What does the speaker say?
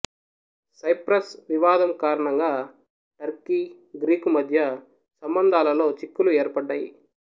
cypress వివాదం కారణంగా Turkey Greek మద్య సంబంధాలలో చిక్కులు ఏర్పడ్డాయి